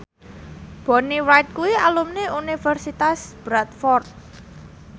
Bonnie Wright kuwi alumni Universitas Bradford